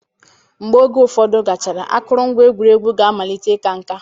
Mgbe oge ụfọdụ gachara, akụrụngwa egwuregwu ga-amalite ịka nká